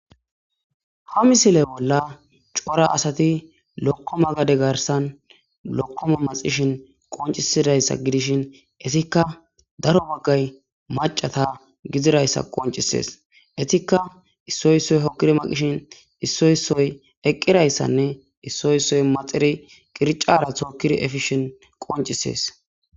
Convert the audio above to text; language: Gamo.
Ha misile bolla cora asati lokkoma gade garssan lokkoma maxxishen qonccisidayssa gidishin ettikka daro bagay maccata giziraysa qonccisees. Ettikka issoy issoy hokidi maxishin issoy issoy eqidayssanne isssoy isoy maxididi qirccara tokidi efishin qonccisees.